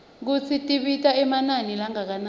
kutsi tibita emanani langakanani